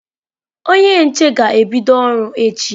Onye nche ga-ebịdo ọrụ echi.